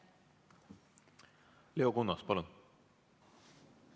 Leo Kunnas, palun!